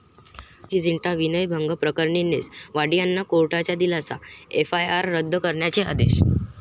प्रीती झिंटा विनयभंग प्रकरणी नेस वाडीयांना कोर्टाचा दिलासा, एफआयआर रद्द करण्याचे आदेश